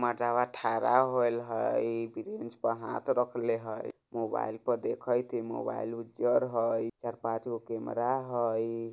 मर्द्वा थड़ा होएले है किसी चीज पे हाथ रखले हई मोबाइल पे देखईत हई मोबाइल उजर हई चार-पांचगो कैमरा हई।